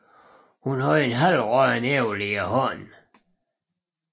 Hun havde et halvråddent æble i hånden